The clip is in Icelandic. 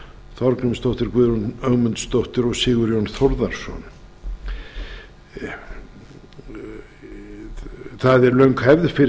þorgrímsdóttir guðrún ögmundsdóttir og sigurjón þórðarson það er löng hefð fyrir